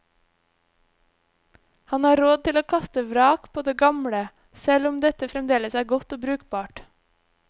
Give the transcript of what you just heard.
Han har råd til å kaste vrak på det gamle, selv om dette fremdeles er godt og brukbart.